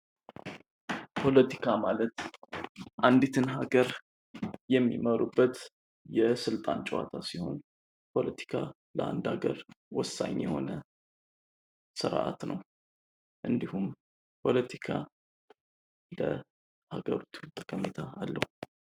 ፖለቲካ ማለት አንዲትን ሀገር የሚመሩበት የስልጣን ጨዋታ ሲሆን ፖለቲካ ለአንድ አገር ወሳኝ የሆነ ስርዓት ነው። እንድሁም ፖለቲካ ለሀገሪቱ ጠቀሜታ አለው።